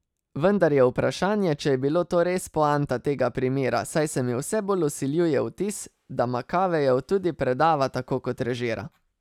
Vendar je vprašanje, če je bilo to res poanta tega primera, saj se mi vse bolj vsiljuje vtis, da Makavejev tudi predava tako kot režira.